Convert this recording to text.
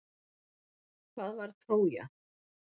Hvað var Trója?